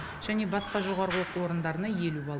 және басқа жоғарғы оқу орындарына елу балл